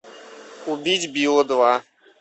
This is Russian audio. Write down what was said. убить билла два